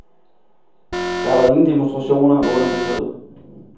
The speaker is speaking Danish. Der var ingen demonstrationer under besøget.